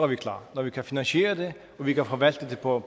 vi klar når vi kan finansiere det og vi kan forvalte det på